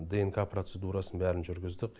днқ процедурасын бәрін жүргіздік